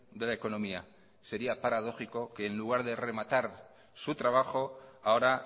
de la economía sería paradójico que en lugar de rematar su trabajo ahora